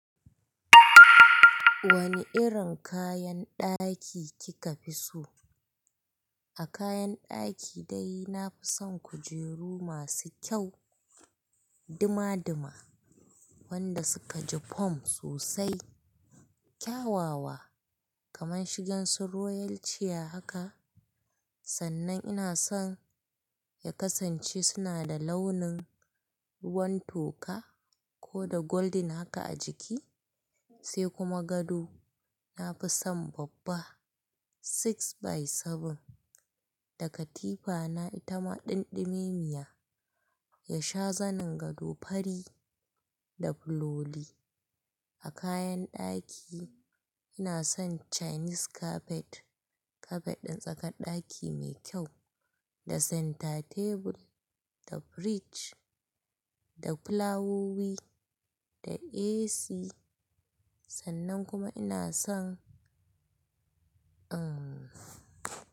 Wani irin kayan ɗaki kika fi so? A kayan ɗaki dai na fi son kujeru masu kyau duma duma wanda suka ji fom sosai, kyawawa kamar shigan su royal chair haka. Sannan ina son ya kasance suna da launin ruwan toka ko da golden haka a jiki sai kuma gado na fi son babba six by seven, da katifa na ita ma ɗinɗimiya, ya sha zanin gado fari da buloli. A kayan ɗaki ina son chinese carpet, kafet ɗin tsakar ɗaki mai kyau, da center table, da fridge, da fulawowi, da AC sannan kuma ina son, uhm.